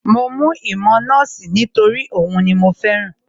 Mo mú ìmọ̀ nọ́ọ̀sì nítorí òhun ni mo fẹ́ràn